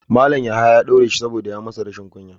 Malam yahaya ya daure shi saboda ya masa rashin kunya.